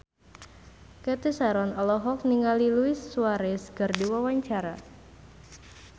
Cathy Sharon olohok ningali Luis Suarez keur diwawancara